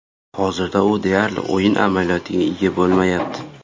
Hozirda u deyarli o‘yin amaliyotiga ega bo‘lmayapti.